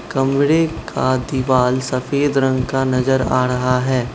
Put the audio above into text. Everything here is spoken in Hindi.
कमरे का दिवाल सफेद रंग का नजर आ रहा है।